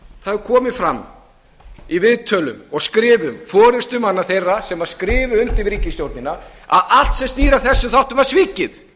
það hefur komið fram í viðtölum og skrifum forustumanna þegar sem skrifuðu undir ríkisstjórnina að allt sem snýr að þessum þáttum var svikið